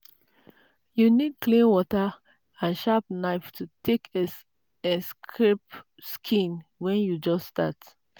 you need clean water and sharp knife to take scrape skin when you just start.